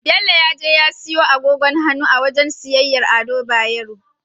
Bello ya je ya siyo agogin hannu a wajen siyayyar Ado Bayero.